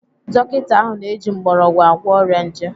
Dọkita ahụ na-eji mgbọrọgwụ agwọ ọrịa nje.